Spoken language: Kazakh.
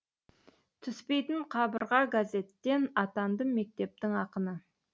түспейтін қабырға газеттен атандым мектептің ақыны